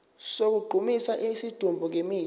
sokugqumisa isidumbu ngemithi